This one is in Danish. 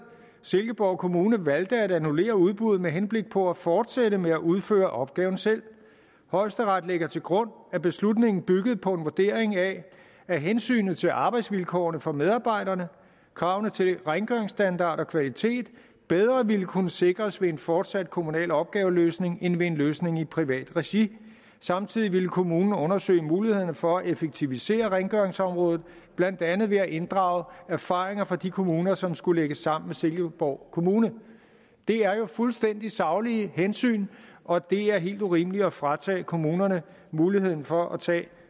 silkeborg kommune valgte at annullere udbuddet med henblik på at fortsætte med at udføre opgaven selv højesteret lægger til grund at beslutningen byggede på en vurdering af at hensynet til arbejdsvilkårene for medarbejderne og kravene til rengøringsstandard og kvalitet bedre ville kunne sikres ved en fortsat kommunal opgaveløsning end ved en løsning i privat regi samtidig ville kommunen undersøge mulighederne for at effektivisere rengøringsområdet blandt andet ved at inddrage erfaringerne fra de kommuner som skulle lægges sammen med silkeborg kommune det er jo fuldstændig saglige hensyn og det er helt urimeligt at fratage kommunerne muligheden for at tage